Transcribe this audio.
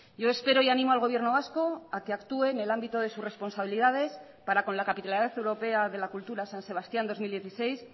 yo espero y animo al gobierno vasco a que actúe en el ámbito de sus responsabilidades para con la capitalidad europea de la cultura san sebastián dos mil dieciséis